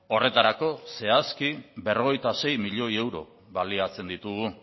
horretarako zehazki berrogeita sei milioi euro baliatzen ditugu